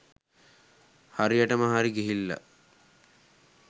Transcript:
හරියටම හරි ගිහිල්ල